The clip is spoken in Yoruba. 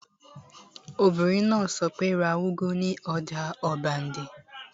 Obìnrin náà sọ pé, 'ra úgú ní ọjà ọbándẹ́!